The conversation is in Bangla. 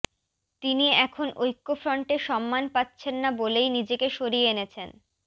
তিনি এখন ঐক্যফ্রন্টে সম্মান পাচ্ছেন না বলেই নিজেকে সরিয়ে এনেছেন